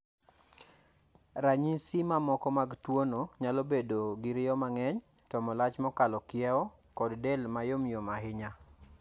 Ranyisi mamoko mag tuono nyalo bedo gi riyo mang'eny, tomo lach mokalo kiewo, kod del ma yom yom ahinya.